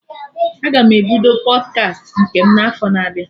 Aga m ebido Pọdkast nke m na afọ na-abịa